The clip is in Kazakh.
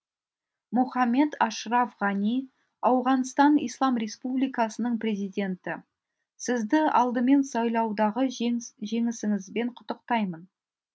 мұхаммед ашраф ғани ауғанстан ислам республикасының президенті сізді алдымен сайлаудағы жеңісіңізбен құттықтаймын